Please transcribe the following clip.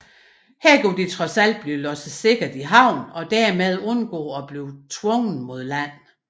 Her kunne de trods alt blive lodset sikkert i havn og dermed undgå at blive tvunget mod land